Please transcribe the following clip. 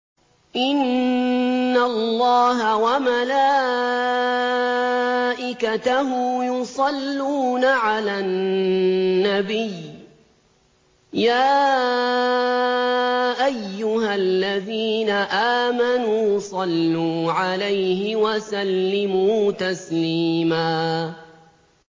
إِنَّ اللَّهَ وَمَلَائِكَتَهُ يُصَلُّونَ عَلَى النَّبِيِّ ۚ يَا أَيُّهَا الَّذِينَ آمَنُوا صَلُّوا عَلَيْهِ وَسَلِّمُوا تَسْلِيمًا